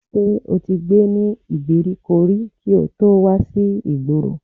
Ṣé o ti gbé ní ìgbèríko rí kí o tó wà sí ìgboro?